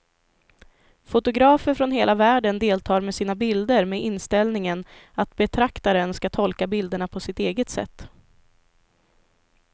Fotografer från hela världen deltar med sina bilder med inställningen att betraktaren ska tolka bilderna på sitt eget sätt.